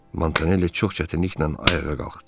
Montanelli çox çətinliklə ayağa qalxdı.